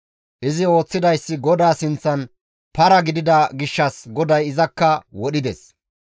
Izi ooththidayssi GODAA sinththan para gidida gishshas GODAY izakka wodhides.